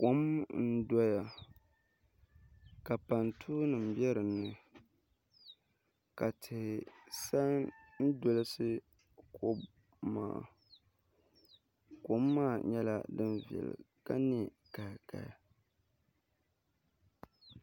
Kom n doya ka pantuu nim bɛ dinni ka tihi sa n dolisi kom maa kom maa nyɛla din viɛli ka nɛ kahikahi